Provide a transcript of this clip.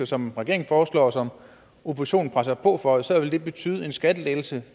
som regeringen foreslår og som oppositionen presser på for så vil det betyde en skattelettelse